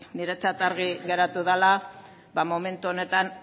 niretzat argi geratu dela ba momentu honetan